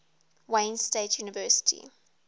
wayne state university